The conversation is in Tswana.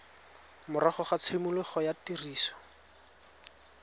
morago ga tshimologo ya tiriso